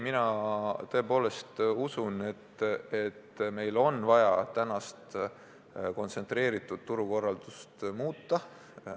Mina aga tõepoolest usun, et meil on vaja senist kontsentreeritud turukorraldust muuta.